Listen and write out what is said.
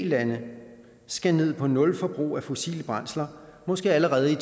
lande skal ned på nul forbrug af fossile brændsler måske allerede i